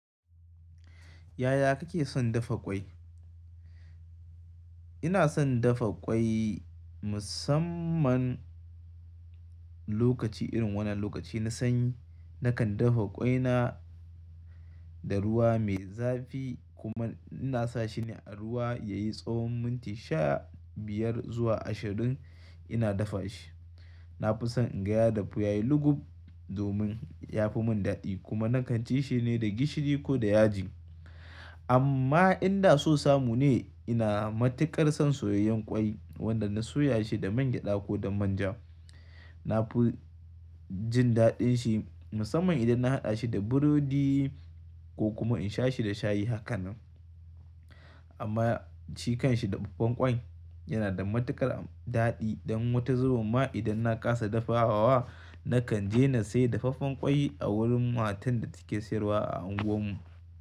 Yaya kake son dafa ƙwai? Ina son dafa ƙwai musamman lokaci irin wannan lokaci na sanyi. Nakan dafa ƙwaina da ruwa mai zafi kuma ina sa shi ne a ruwa yayi tsawon minti sha biyar zuwa ashirin ina dafa shi. Na fi son inga ya dafu yayi lugub domin ya fi mun dadi kuma nakan ci shi ne da gishiri ko da yaji. Amma inda so samu ne ina matukar son soyayyen ƙwai wanda na soya shi da man gyada ko da manja. Na fi jin daɗin shi musamman idan na haɗa shi da burodi ko kuma in sha shi da shayi hakanan. Amma shi kan shi dafaffen ƙwai yana da matuƙar daɗi don wata zubin ma idan na kasa dafawa nakan je na sai dafaffen ƙwai a wurin matan da take sayarwa a unguwar mu.